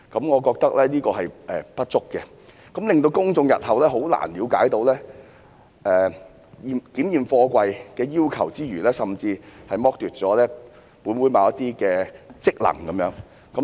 我覺得這修訂方式的不足之處，令公眾日後很難了解檢驗貨櫃的要求之餘，更剝奪了本會行使某些職能的機會。